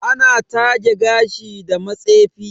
Ana taje gashi da matsefi